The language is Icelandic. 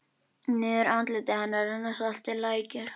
Niður andlit hennar renna saltir lækir.